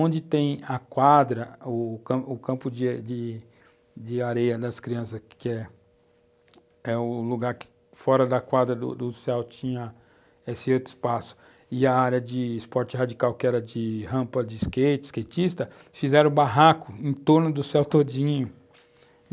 Onde tem a quadra, o o campo de areia das crianças, que é o lugar que fora da quadra do céu tinha esse outro espaço, e a área de esporte radical, que era de rampa de skate, de skatista, fizeram um barraco em torno do céu todinho.